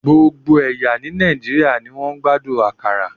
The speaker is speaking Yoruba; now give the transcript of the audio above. Gbogbo ẹ̀yà ní Nàìjíríà ni wọ́n ń gbádùn akara